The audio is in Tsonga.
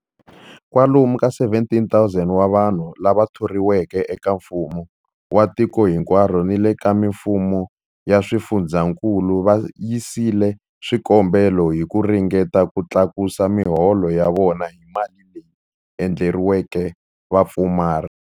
Kwalomu ka 17,000 wa vanhu lava thoriweke eka mfumo wa tiko hinkwaro ni le ka mifumo ya swifundzankulu va yisile swikombelo hi ku ringeta ku tlakusa miholo ya vona hi mali leyi endleriweke vapfumari.